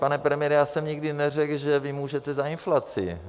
Pane premiére, já jsem nikdy neřekl, že vy můžete za inflaci.